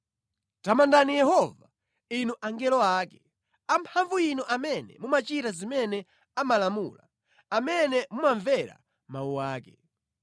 Tamandani Yehova, inu angelo ake, amphamvu inu amene mumachita zimene amalamula, amene mumamvera mawu ake.